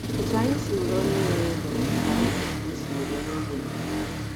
Otú anyị si were onye nwere ego ka anyị kwesịrị isi were ogbenye.